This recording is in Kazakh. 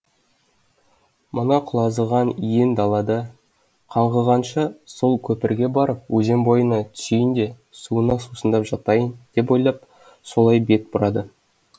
мына құлазыған иен далада қаңғығанша сол көпірге барып өзен бойына түсейін де суына сусындап жатайын деп ойлап солай бет бұрады